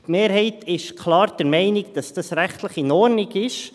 Die Mehrheit ist klar der Meinung, dass das rechtlich in Ordnung ist.